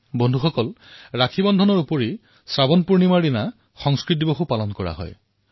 বন্ধুসকল শাওণ পূৰ্ণিমাত ৰক্ষাবন্ধনৰ উপৰিও সংস্কৃত দিৱসো পালন কৰা হয়